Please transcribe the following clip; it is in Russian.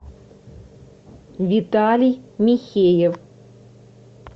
виталий михеев